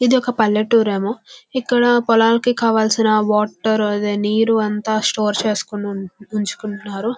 ఇది ఒక పల్లెటూరు ఏమో ఇక్కడ పొలాలకు కావలిసిన వాటర్ అదే నీరు అంత స్టోర్ చేసుకొని ఉంచుకుంటున్నారు.